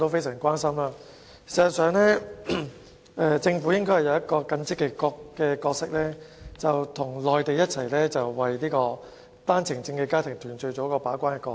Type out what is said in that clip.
事實上，政府應該擔當一個更積極的角色，與內地政府一起為單程證家庭團聚做好把關工作。